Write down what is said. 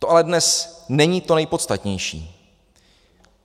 To ale dnes není to nejpodstatnější.